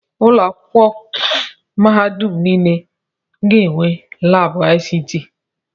Ụlọ akwụkwọ mahadum ọgbara ọhụrụ niile ga-enwe laabụ ICT.